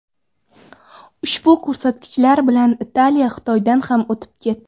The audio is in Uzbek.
Ushbu ko‘rsatkichlar bilan Italiya Xitoydan ham o‘tib ketdi.